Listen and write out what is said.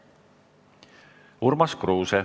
Urmas Kruuse.